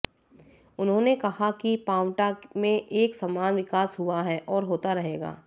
उन्होंने कहा कि पांवटा में एक समान विकास हुआ है और होता रहेगा